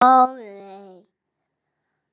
Ó nei.